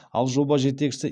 ал жоба жетекшісі